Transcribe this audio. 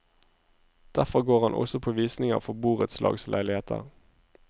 Derfor går han også på visninger for borettslagsleiligheter.